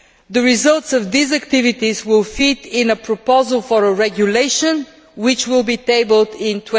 The results of these activities will feed into a proposal for a regulation which will be tabled in